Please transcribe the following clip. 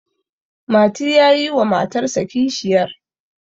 mati ya yi wa matarsa kishiyar